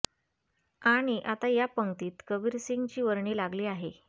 आणि आता या पंक्तीत कबीर सिंग ची वर्णी लागली आहे